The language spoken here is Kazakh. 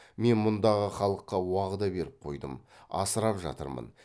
мен мұндағы халыққа уағда беріп қойдым асырап жатырмын